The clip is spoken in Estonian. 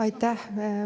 Aitäh!